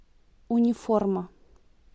униформа